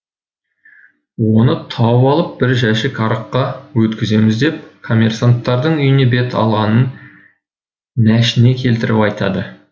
оны тауып алып бір жәшік араққа өткіземіз деп комерсанттардың үйіне бет алғанын нәшіне келтіріп айтады